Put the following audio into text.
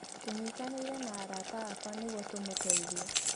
Tũnyitaĩire na arata akwa nĩguo tũmuteithie